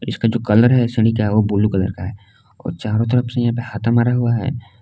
इसका जो कलर है सीढ़ी का है वो ब्लू कलर का है और चारों तरफ से यहां पे हाथा मारा हुआ है।